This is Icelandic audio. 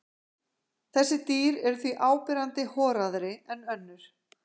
Þessi dýr eru því áberandi horaðri en önnur.